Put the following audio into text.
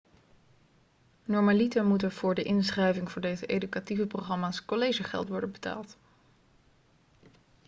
normaliter moet er voor de inschrijving voor deze educatieve programma's collegegeld worden betaald